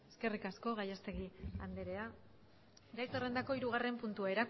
eskerrik asko gallastegui andrea gai zerrendako hirugarren puntua